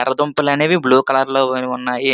యెర్ర దుంపలు అనేవి బ్లూ కలర్ లో ఉన్నాయి.